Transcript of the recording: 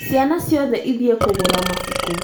Ciana ciothe ithiĩ kũgũra mabuku